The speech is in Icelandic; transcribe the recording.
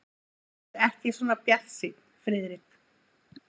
Vertu ekki svona bjartsýnn, Friðrik.